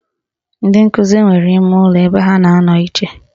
Ndị nkụzi nwere imeụlọ ebe ha na-anọ iche